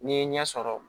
N'i ye ɲɛ sɔrɔ